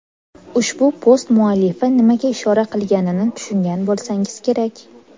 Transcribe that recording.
Ushbu post muallifi nimaga ishora qilganini tushungan bo‘lsangiz kerak.